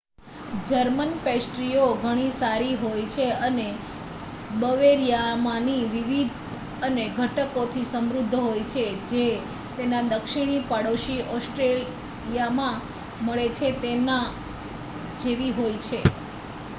German પેસ્ટ્રીઓ ઘણી સારી હોય છે અને બવેરિયામાંની વિવિધ અને ઘટકોથી સમૃદ્ધ હોય છે જે તેના દક્ષિણી પડોશી ઑસ્ટ્રિયામાં મળે છે તેના જેવી હોય છે